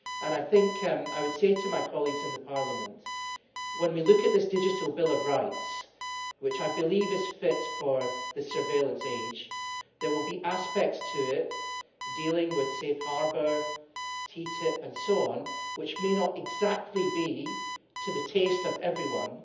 I would say to my colleagues in Parliament that when we look at this digital bill of rights, which I believe is fit for the surveillance age, there will be aspects of it dealing with Safe Harbour, TFTP and so on, which may not be exactly to the taste of everyone.